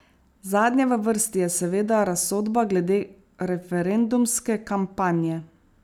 Zadnja v vrsti je seveda razsodba glede referendumske kampanje.